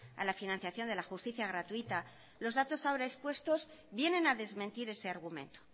a la financiación de la justicia gratuita los datos ahora expuestos vienen a desmentir ese argumento